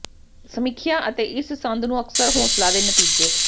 ਸਮੀਖਿਆ ਅਤੇ ਇਸ ਸੰਦ ਨੂੰ ਅਕਸਰ ਹੌਸਲਾ ਦੇ ਨਤੀਜੇ